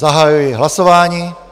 Zahajuji hlasování.